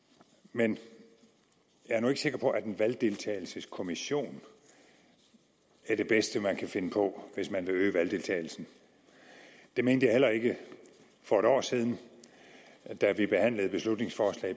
men jeg er nu ikke sikker på at en valgdeltagelseskommission er det bedste man kan finde på hvis man vil øge valgdeltagelsen det mente jeg heller ikke for et år siden da vi behandlede beslutningsforslag